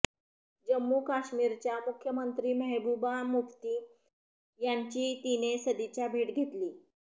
जम्मू काश्मीरच्या मुख्यमंत्री मेहबुबा मुफ्ती यांची तिने सदिच्छा भेट घेतली